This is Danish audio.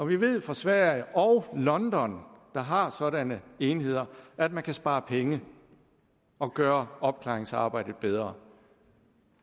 vi ved fra sverige og london der har sådanne enheder at man kan spare penge og gøre opklaringsarbejdet bedre